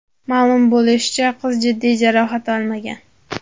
Ma’lum bo‘lishicha, qiz jiddiy jarohat olmagan.